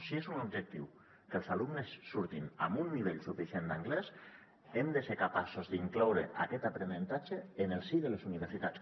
si és un objectiu que els alumnes surtin amb un nivell suficient d’anglès hem de ser capaços d’incloure aquest aprenentatge en el si de les universitats